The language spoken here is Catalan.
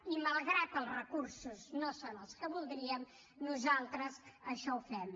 i malgrat que els recursos no són els que voldríem nosaltres això ho fem